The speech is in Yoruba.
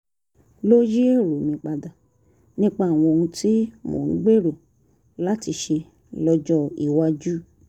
ló yí èrò mi padà nípa àwọn ohun tí mò ń gbèrò láti ṣe lọ́jọ́ iwájú